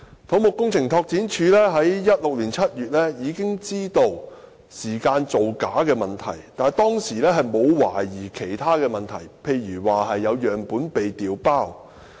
土木工程拓展署在2016年7月已經知道時間造假的問題，但當時沒有懷疑有其他問題，例如有樣本被調包。